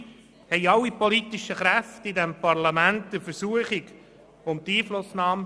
Dabei erlagen alle politischen Kräfte im Parlament der Versuchung der Einflussnahme.